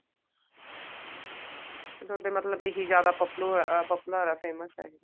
ਥੋਡੇ ਮਤਲਬ ਇਹੀ ਜਿਆਦਾ popular ਐ famous ਐ ਇਹ